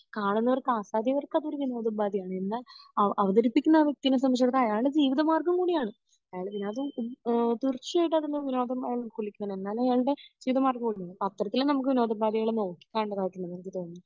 കാണുന്നവർക്കു ആസ്വാദകർക്ക് അതൊരു വിനോദോപാധിയാണ് എന്നാൽ അവതരിപ്പിക്കുന്ന ആ വ്യക്തിനെ സംബന്ധിച്ചടുത്തോളം അയാളുടെ ജീവിത മാർഗം കൂടി ആണ് അയാൾ വിനോദം ഉം തീർച്ചയായിട്ടും അതിന്ന് വിനോദം അയാൾ എന്നാലും അയാളുടെ ജീവിത മാർഗം കൂടി ആണ് അപ്പൊ അത്തരത്തിൽ നമുക്ക് വിനോദോപാദികളെ നോക്കികാണേണ്ടതായിട്ടുണ്ട് എന്ന് എനിക്ക് തോനുന്നു